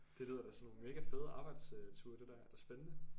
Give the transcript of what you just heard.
Det lyder da som nogle mega fede arbejds øh ture det der er det spændende?